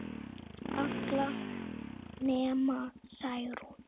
Allar nema Særún